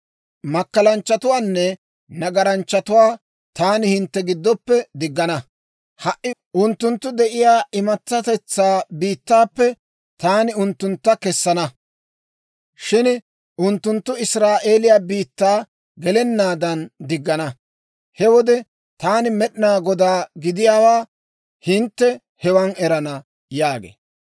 Makkalanchchatuwaanne nagaranchchatuwaa taani hintte giddoppe diggana; ha"i unttunttu de'iyaa imatsatetsaa biittaappe taani unttuntta kessana; shin unttunttu Israa'eeliyaa biittaa gelennaadan diggana. He wode taani Med'inaa Godaa gidiyaawaa hintte hewan erana› yaagee.